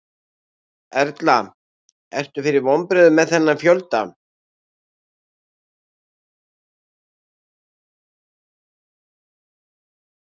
Erla: Ertu fyrir vonbrigðum með þennan fjölda?